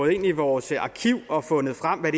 ind i vores arkiv og har fundet frem hvad